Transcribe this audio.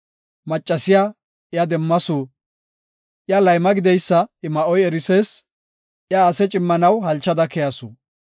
Maccasiya iya demmasu; iya layma gideysa I ma7oy erisees; iya asa cimmanaw halchada keyasu.